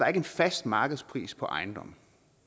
ikke en fast markedspris på ejendomme